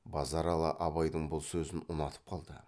базаралы абайдың бұл сөзін ұнатып қалды